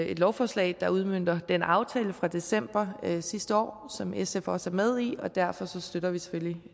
et lovforslag der udmønter den aftale fra december sidste år som sf også er med i og derfor støtter vi selvfølgelig